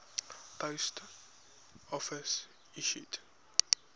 post office issued